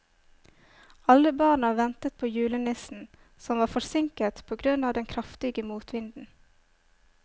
Alle barna ventet på julenissen, som var forsinket på grunn av den kraftige motvinden.